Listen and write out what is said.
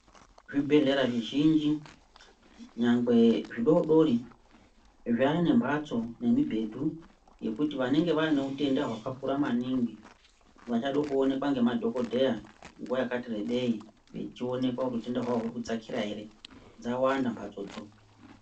Zvibhedhlera zvizhinji nyangwe zvidodori zvaane mhatso nemibhedhu yekuti vanenge vane utenda hwakakura maningi vachade kuonekwa ngemadhokodheya nguwa yakati rebei vechionekwa kuti utenda hwawo huri kudzakira ere, dzawanda mhatsodzo.